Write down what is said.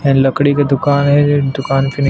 and लकड़ी का दुकान है ये दूकान के नि --